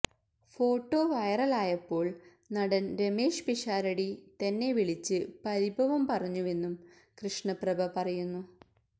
photo വെെറലായപ്പോൾ നടൻ രമേഷ് പിഷാരടി തന്നെ വിളിച്ച് പരിഭവം പറഞ്ഞുവെന്നും കൃഷ്ണ പ്രഭ പറയുന്നു